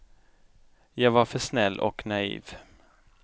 Jag var för snäll och naiv.